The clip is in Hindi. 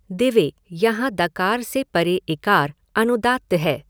दिवे यहां दकार से परे इकार अनुदात्त है।